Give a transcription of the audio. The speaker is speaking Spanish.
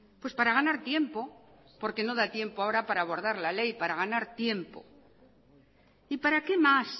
pues para ganar tiempo porque no da tiempo ahora para abordar la ley para ganar tiempo y para qué más